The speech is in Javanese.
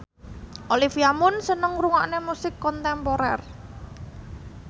Olivia Munn seneng ngrungokne musik kontemporer